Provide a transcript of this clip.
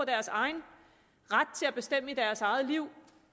deres egen ret til at bestemme i deres eget liv